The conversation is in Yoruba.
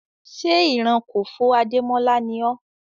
Ṣé ìran Kòfó Adémọ́lá ni ọ́?